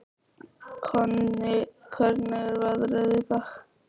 Konni, hvernig er veðrið í dag?